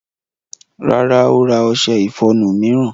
Rárá, ó ra ọṣẹ ìfọnu mìíràn.